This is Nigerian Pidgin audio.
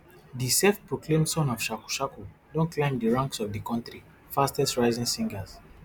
di selfproclaimed son of shaku shaku don climb di ranks of di kontri fastestrising singers